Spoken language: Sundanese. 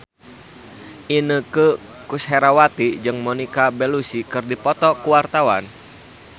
Inneke Koesherawati jeung Monica Belluci keur dipoto ku wartawan